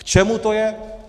K čemu to je?